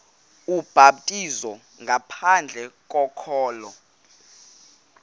ubhaptizo ngaphandle kokholo